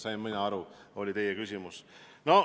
Mina sain aru, et see oli teie küsimus.